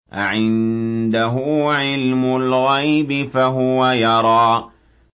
أَعِندَهُ عِلْمُ الْغَيْبِ فَهُوَ يَرَىٰ